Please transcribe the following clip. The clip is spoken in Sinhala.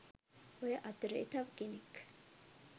ඔය අතරේ තව කෙනෙක්